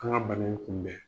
K'an ka bana in kunbɛn.